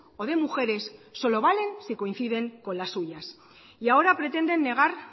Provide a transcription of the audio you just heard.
o de mujeres solo valen si coinciden con las suyas y ahora pretenden negar